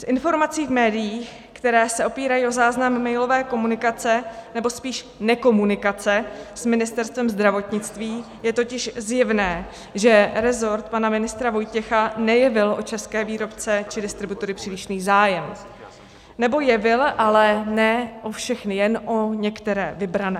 Z informací v médiích, které se opírají o záznam mailové komunikace, nebo spíš nekomunikace s Ministerstvem zdravotnictví, je totiž zjevné, že rezort pana ministra Vojtěcha nejevil o české výrobce či distributory přílišný zájem, nebo jevil, ale ne o všechny, jen o některé vybrané.